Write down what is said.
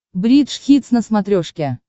бридж хитс на смотрешке